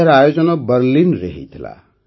ଏହାର ଆୟୋଜନ ବର୍ଲିନ୍ରେ ହୋଇଥିଲା